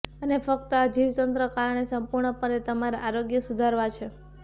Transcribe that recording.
અને ફક્ત આ જીવતંત્ર કારણે સંપૂર્ણપણે તમારા આરોગ્ય સુધારવા છે